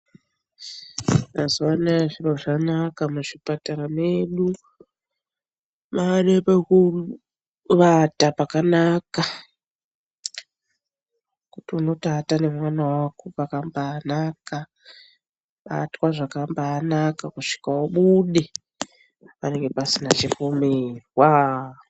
Mazuwa anaya zviro zvanaka mu zvipatara medu pane peku vata pakanaka pekuti unoto ata ne mwana wako pakambai naka kubatwa zvakambai naka kusvika ubude panenge pasina chipomerwa.